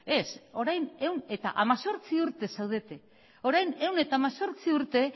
ez orain ehun eta hemezortzi urte zaudete orain ehun eta hemezortzi urte